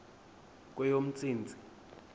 kweyomntsintsi